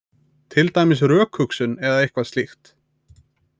Til dæmis rökhugsun eða eitthvað slíkt.